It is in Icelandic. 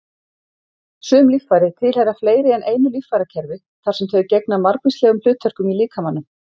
Sum líffæri tilheyra fleiri en einu líffærakerfi þar sem þau gegna margvíslegum hlutverkum í líkamanum.